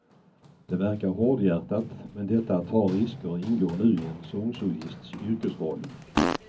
Det verkar hårdhjärtat, men detta att ta risker ingår nu i en sångsolists yrkesroll.